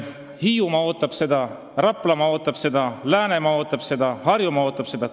Hiiumaa ootab seda raudteed, Raplamaa ootab seda, Läänemaa ootab seda, Harjumaa ootab seda.